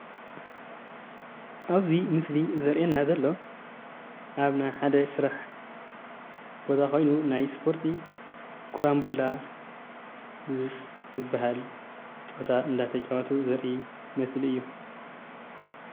ኣብዚ ምስሊ ዘርእየና ዘሎ ኣብ ናይ ሓደ ስራሕ ቦታ ኮይኑ ናይ እስፖርቲ ኮራንብላ ዝባሃል ጨወታ እንዳተጨወቱ ዘርኢ ምስሊ እዩ፡፡